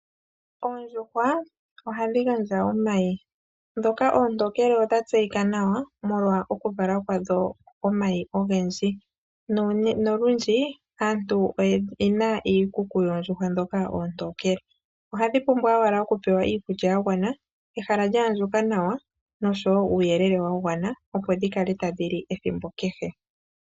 Oondjuhwa ohadhi gandja omayi, ndhoka oontookele odha tseyika nawa molwa oku vala kwadho komayi ogendji nolundji aantu oyena iikuku yoondjuhwa ndhoka oontookele. Ohadhi pumbwa owala oku pewa iikulya yagwana, ehala lya andjuka nawa nosho uuyelele wa gwana, opo dhi kale tadhi li ethimbo kehe.